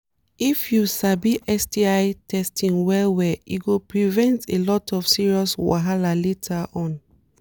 if u sabi sti testing well well e go prevent a lot of serious wahala later on